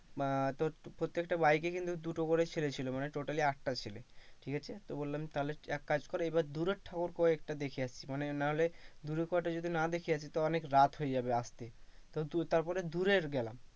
আহ তো প্রত্যেকটা bike এ কিন্তু দুটো করে ছেলে ছিল, মানে totally আঠটা ছেলে ঠিকআছে, তো বললাম তাহলে এক কাজ কর এইবার দূরের ঠাকুর কয়েকটা দেখে আসি মানে নাহলে দূরের না দেখে আসি তো অনেক রাত হয়ে যাবে আসতে তো তারপরে দূরের গেলাম,